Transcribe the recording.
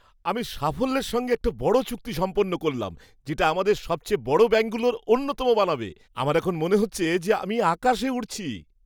আমি সাফল্যের সঙ্গে একটা বড় চুক্তি সম্পন্ন করলাম, যেটা আমাদের সবচেয়ে বড় ব্যাঙ্কগুলোর অন্যতম বানাবে। আমার এখন মনে হচ্ছে যে আমি আকাশে উড়ছি।